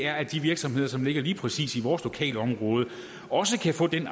er at de virksomheder som ligger lige præcis i vores lokalområde også kan få den